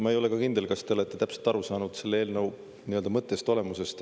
Ma ei ole kindel, kas te olete täpselt aru saanud selle eelnõu mõttest, olemusest.